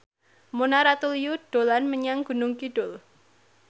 Mona Ratuliu dolan menyang Gunung Kidul